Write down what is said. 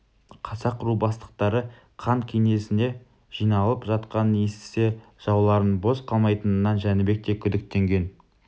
қазақ ру бастықтары хан кеңесіне жиналып жатқанын естісе жауларының бос қалмайтынынан жәнібек те күдіктенген